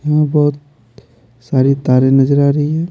यहाँ बहुत सारी तारें नजर आ रही है।